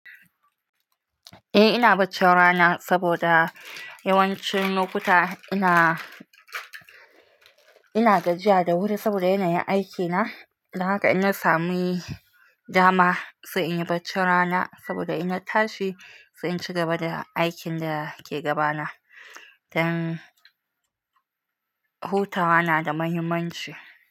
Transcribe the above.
Eh ina bacci rana saboda yawancin lokuta ina, ina gajiya da wuri saboda yanayin aikina. Don haka in na sami dama sai inyi bacci rana saboda in na tashi sai inci gaba da aikin da ke gabana. Dan hutawa na da muhimmanci.